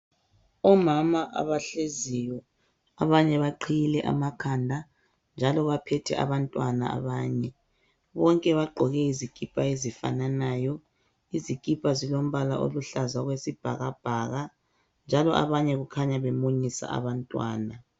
Omama abahleziyo abanye baqhiyile amakhanda njalo baphethe abantwana abanye bonke bagqoke izikipa ezifananayo izikipa zilombala oluhlaza okwesibhakabhaka njalo abanye kukhanya bemunyisa abantwana.